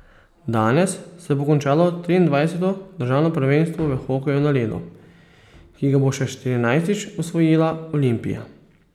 Danes se bo končalo triindvajseto državno prvenstvo v hokeju na ledu, ki ga bo še štirinajstič osvojila Olimpija.